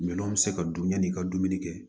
Minɛnw bɛ se ka dun ɲani i ka dumuni kɛ